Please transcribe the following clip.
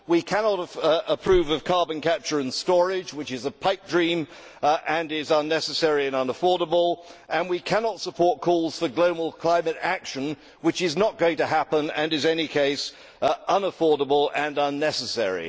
We cannot approve of carbon capture and storage, which is a pipedream and is unnecessary and unaffordable, and we cannot support calls for global climate action, which is not going to happen and is in any case unaffordable and unnecessary.